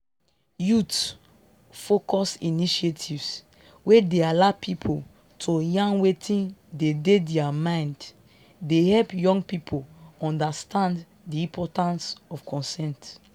youth-focused initiatives wey dey allow people to yarn wetin dey dey their mind dey help young people understand di importance of consent